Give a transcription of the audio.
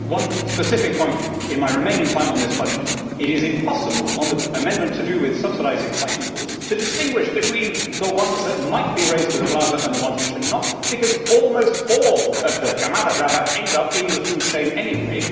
One specific point in my remaining time on this budget it is impossible on the amendment to do with subsidising fighting bulls to distinguish between the ones that might be raised for the plaza and the ones which are not, because almost all of the camada brava end up in the food chain anyway.